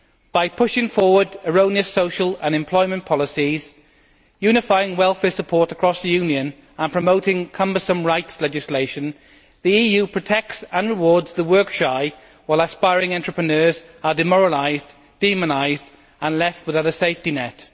By pushing forward erroneous social and employment policies, unifying welfare support across the Union, and promoting cumbersome rights legislation, the EU protects and rewards the work shy, while aspiring entrepreneurs are demoralised, demonised and left without a safety net.